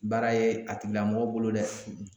Baara ye a tigila mɔgɔ bolo dɛ